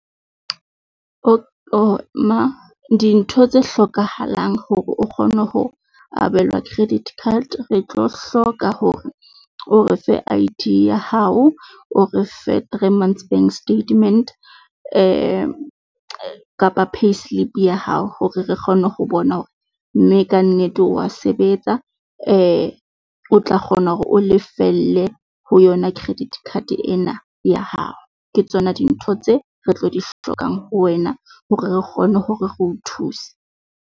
Dintho tse hlokahalang hore o kgone ho abelwa credit card, re tlo hloka hore o re fe I_D ya hao, o re fe three months bank statement kapa payslip ya hao hore re kgone ho bona hore mme kannete wa sebetsa. O tla kgona hore o lefelle ho yona credit card ena ya hao. ke tsona dintho tse re tlo di hlokang ho wena hore re kgone hore re o thuse.